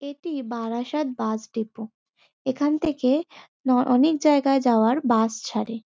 এটি Barasat bus depot. এখান থেকে ন অনেক জায়গায় যাওয়ার বাস ছাড়ে।